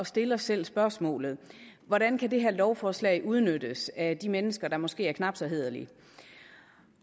stille os selv spørgsmålet hvordan kan det her lovforslag udnyttes af de mennesker der måske er knap så hæderlige